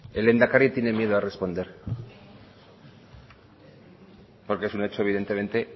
el lehendakari tiene miedo a responder porque es un hecho evidentemente